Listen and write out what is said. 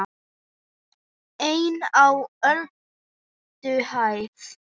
EIN Á ÖLDUHÆÐ